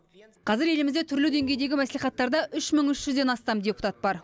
қазір елімізде түрлі деңгейдегі мәслихаттарда үш мың үш жүзден астам депутат бар